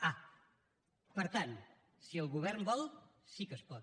ah per tant si el govern vol sí que es pot